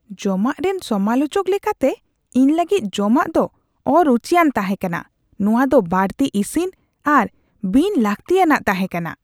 ᱡᱚᱢᱟᱜ ᱨᱮᱱ ᱥᱚᱢᱟᱞᱳᱪᱚᱠ ᱞᱮᱠᱟᱛᱮ, ᱤᱧ ᱞᱟᱹᱜᱤᱫ ᱡᱚᱢᱟᱜ ᱫᱚ ᱚᱼᱨᱩᱪᱤᱭᱟᱱ ᱛᱟᱦᱮᱸ ᱠᱟᱱᱟ ᱾ ᱱᱚᱶᱟ ᱫᱚ ᱵᱟᱹᱲᱛᱤ ᱤᱥᱤᱱ ᱟᱨ ᱵᱤᱱ ᱞᱟᱹᱠᱛᱤᱼᱟᱱᱟᱜ ᱛᱟᱦᱮᱸ ᱠᱟᱱᱟ ᱾